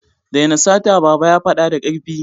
Daina sata! Baba ya fada da karfi.